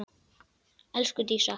Elsku Dísa.